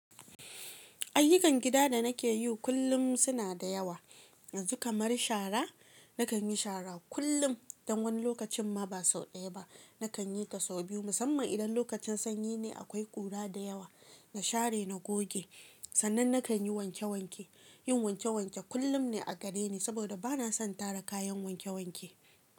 Ayyukan gida da nake yi kullum suna da yawa, yanzu kamar shara. Nakan yi shara kullum, dan wani lokacin ma ba sau ɗaya ba, nakan yi ta sau biyu. Musamman idan lokacin sanyi ne akwai ƙura da yawa, na share na goge. Sannan nakan yi wanke wanke. Yin wanke wanke kullum ne a gare ni saboda bana son tara kayan wanke wanke.